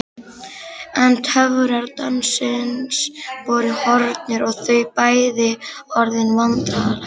En töfrar dansins voru horfnir og þau bæði orðin vandræðaleg.